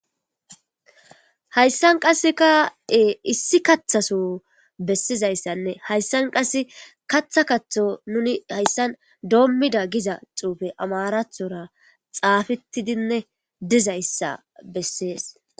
hayssan qasseka7e issi kathaso bessizayssanne hayssan qass katha kaththo nuni hayssan doommida giza xuufe amarathora xaafettidinne dizayssa bessees